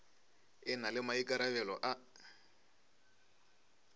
e na le maikarabelo a